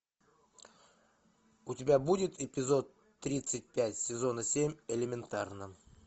у тебя будет эпизод тридцать пять сезона семь элементарно